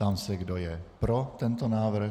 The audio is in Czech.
Ptám se, kdo je pro tento návrh.